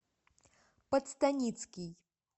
подстаницкий